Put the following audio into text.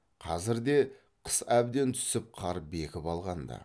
қазірде қыс әбден түсіп қар бекіп алған ды